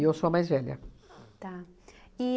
E eu sou a mais velha. Tá.